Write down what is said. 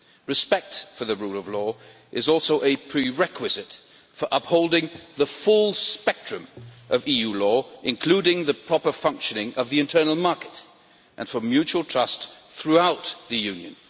Respect for the rule of law is also a prerequisite for upholding the full spectrum of EU law, including the proper functioning of the internal market, and for mutual trust throughout the Union.